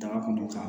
Daga kɔnɔ ka